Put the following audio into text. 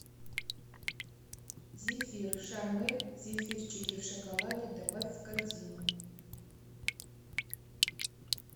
зефир шармэль зефирчики в шоколаде добавь в корзину